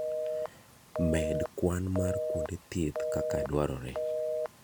Med kwan mar kuonde thieth kaka dwarore.